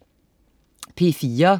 P4: